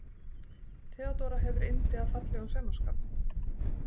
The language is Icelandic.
Theodóra hefur yndi af fallegum saumaskap.